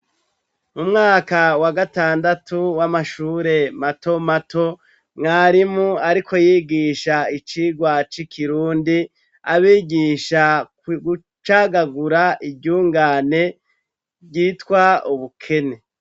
Umwaka wa gatandatu w'amashure matomato ,mwarimu ariko yigisha icigwa c'ikirundi, abigisha gucagagura iryungane ryitwa ubukene.